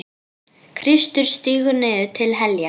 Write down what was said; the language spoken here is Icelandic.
Kristur stígur niður til heljar.